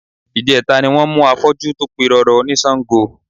Ìjẹta ni wọ́n mú afọ́jú tó pirọrọ ní Sango